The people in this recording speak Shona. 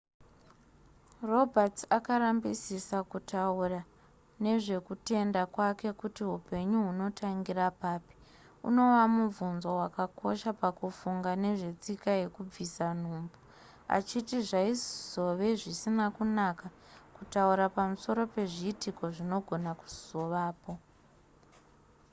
roberts akarambisisa kutaura nezvekutenda kwake kuti hupenyu hunotangira papi unova mubvunzo wakakosha pakufunga nezvetsika yekubvisa nhumbu achiti zvaizove zvisina kunaka kutaura pamusoro pezviitiko zvinogona kuzovapo